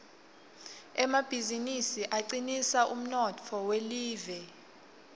emabizinisi acinisa umnotfo welive